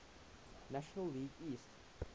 national league east